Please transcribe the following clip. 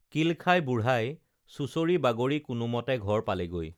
কিল খাই বুঢ়াই চুচৰি বাগৰি কোনোমতে ঘৰ পালেগৈ